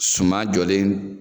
Suma jɔlen